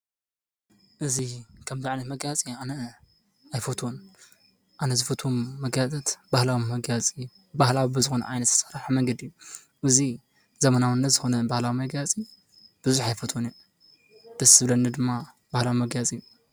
እዚ ከምዚ ዓይነት መጋየፂ ኣነ ኣይፈትዎን ኣነ ዝፈትዎም መጋየፂታት ባህላዊ መጋየፂ ባህላዊ ብዝኮነ ዓይነት ዝተሰርሐ መንገዲ እዚ ዘመናዊነት ዝኮነ ባህላዊ መጋየፂታት ብዙሕ ኣይፈትዎን እየ፡፡ ደስ ዝበለኒ ድማ ባህላዊ መጋየፂ እዩ፡፡